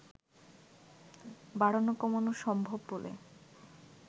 বাড়ানো কমানো সম্ভব বলে